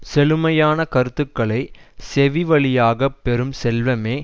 செழுமையான கருத்துகளைச் செவிவழியாகப் பெறும் செல்வமே